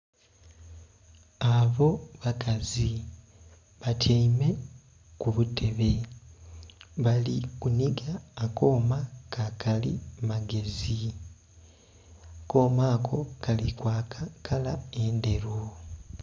Abo bakazi batyaime kubutebe balikunhiga akoma kakali magezi, akoma ako kali kwaka kala endheru.